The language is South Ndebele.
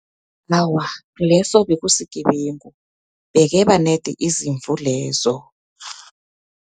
Awa, leso bekusigebengu, bekeba nedi izimvu lezo.